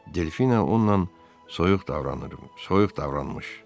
Delfina onunla soyuq davranmışdı.